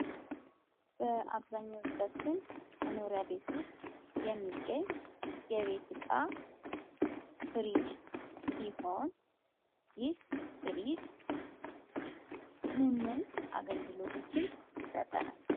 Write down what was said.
በአብዛኞቻችን መኖርያ ቤት ውስጥ የሚገኝ የቤት እቃ ፍሪጅ ሲሆን ይህ ፍሪጅ ምንምን አገልግሎቶችን ይሰጠናል?